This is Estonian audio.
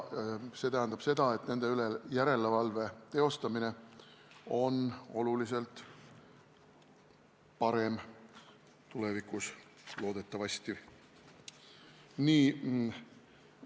See tähendab seda, et nende üle järelevalve teostamine on tulevikus loodetavasti oluliselt parem.